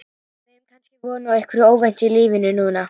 Við eigum kannski von á einhverju óvæntu í lífinu núna?